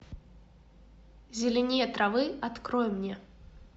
зеленее травы открой мне